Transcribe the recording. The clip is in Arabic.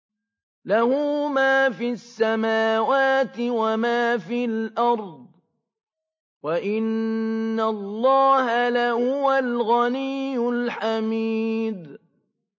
لَّهُ مَا فِي السَّمَاوَاتِ وَمَا فِي الْأَرْضِ ۗ وَإِنَّ اللَّهَ لَهُوَ الْغَنِيُّ الْحَمِيدُ